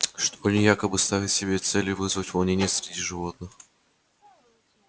что они якобы ставят себе целью вызвать волнения среди животных